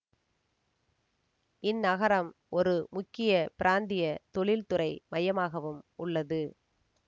இந் நகரம் ஒரு முக்கிய பிராந்திய தொழில்துறை மையமாகவும் உள்ளது